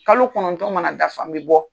Kalo kɔnɔntɔn mana dafa n bɛ bɔ.